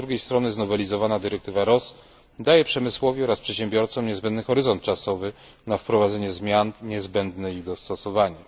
Z drugiej strony znowelizowana dyrektywa RoHS daje przemysłowi oraz przedsiębiorcom niezbędny horyzont czasowy na wprowadzenie zmian i niezbędne dostosowanie.